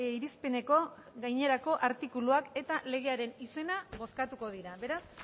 irizpeneko gainerako artikuluak eta legearen izena bozkatuko dira beraz